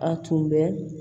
A tun bɛ